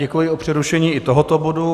Děkuji za přerušení i tohoto bodu.